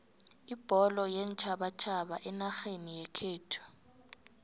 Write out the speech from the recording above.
ibholo yeentjhabatjhaba enarheni yekhethu